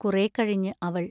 കുറേക്കഴിഞ്ഞ് അവൾ